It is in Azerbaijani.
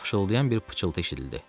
Fışıltılayan bir pıçıltı eşidildi.